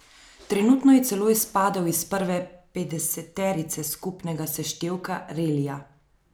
Trenutno je celo izpadel iz prve petdeseterice skupnega seštevka relija.